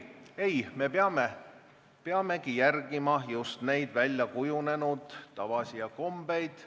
Ei, me peame järgima just nimelt väljakujunenud tavasid.